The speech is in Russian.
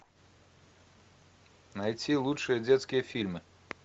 найти лучшие детские фильмы